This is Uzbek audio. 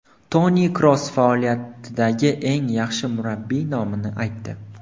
Toni Kroos faoliyatidagi eng yaxshi murabbiy nomini aytdi.